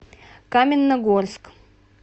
каменногорск